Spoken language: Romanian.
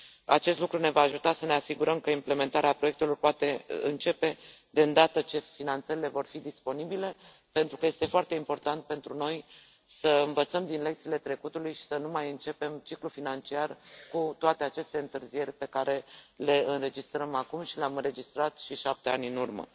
Acest lucru ne va ajuta să ne asigurăm că implementarea proiectelor poate începe deîndată ce finanțările vor fi disponibile pentru că este foarte important pentru noi să învățăm din lecțiile trecutului și să nu mai începem ciclul financiar cu toate aceste întârzieri pe care le înregistrăm acum și le am înregistrat și cu 7 ani în urmă.